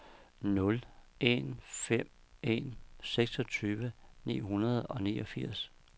nul en fem en seksogtyve ni hundrede og niogfirs